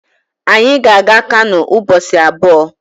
Anyị ga-aga Kano ụbọchị abụọ